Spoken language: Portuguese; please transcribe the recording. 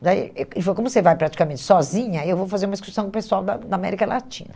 Daí eh ele falou, como você vai praticamente sozinha, eu vou fazer uma excursão com o pessoal da da América Latina.